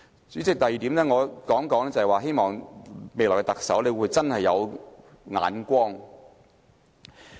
主席，第二點我要說的是，希望未來特首真的有眼光。